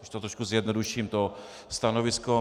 Když to trošku zjednoduším, to stanovisko.